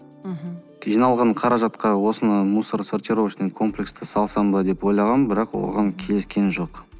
мхм жиналған қаражатқа осыны мусоросортировочный комплексті салсам ба деп ойлағам бірақ оған келіскен жоқ